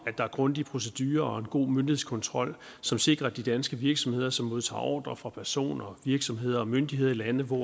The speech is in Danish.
at der er grundige procedurer og en god myndighedskontrol som sikrer at de danske virksomheder som modtager ordrer fra personer virksomheder og myndigheder i lande hvor